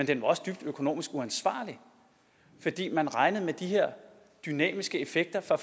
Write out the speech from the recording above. den var også dybt økonomisk uansvarlig fordi man regnede med de her dynamiske effekter